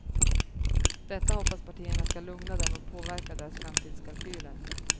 Detta hoppas partierna ska lugna dem och påverka deras framtidskalkyler.